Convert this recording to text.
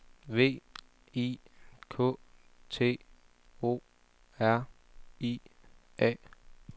V I K T O R I A